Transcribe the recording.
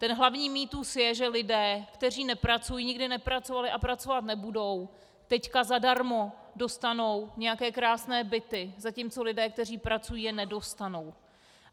Ten hlavní mýtus je, že lidé, kteří nepracují, nikdy nepracovali a pracovat nebudou, teď zadarmo dostanou nějaké krásné byty, zatímco lidé, kteří pracují, je nedostanou.